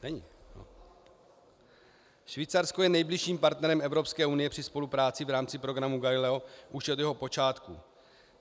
Švýcarsko je nejbližším partnerem Evropské unie při spolupráci v rámci programu Galileo už od jeho počátku.